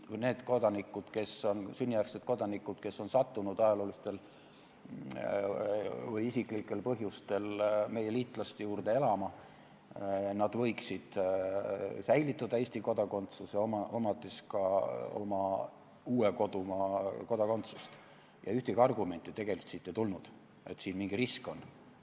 Need sünnijärgsed kodanikud, kes on sattunud ajaloolistel või isiklikel põhjustel meie liitlaste juurde elama, võiksid säilitada Eesti kodakondsuse, omades ka oma uue kodumaa kodakondsust, ja ühtegi argumenti tegelikult siit ei tulnud, et siin mingi risk on.